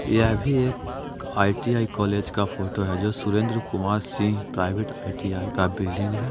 यह भी एक आइ.टी.आई कॉलेज का फोटो है जो सुरेन्द्रकुमार सिंह प्राइवेट आइ.टी.आई का बिल्डिंग है।